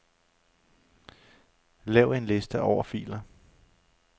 Lav en liste over filer.